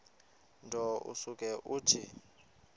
nto usuke uthi